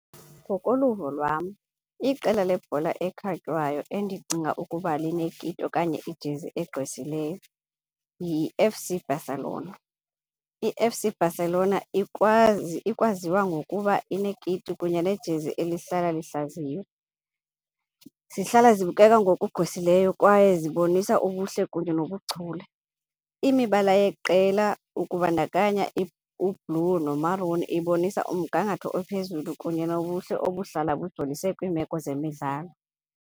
Ngokoluvo lwam iqela lebhola ekhatywayo endicinga ukuba linekiti okanye ijezi egqwesileyo yi-F_C Barcelona. I-F_C Barcelona ikwazi ikwaziwa ngokuba ineekiti kunye nejezi elihlala lihlaziywa. Zihlala zibukeka ngokugqwesileyo kwaye zibonisa ubuhle kunye nobuchule. Imibala yeqela ukubandakanya u-blue no-maroon ibonisa umgangatho ophezulu kunye nobuhle obuhlala bujolise kwiimeko zemidlalo.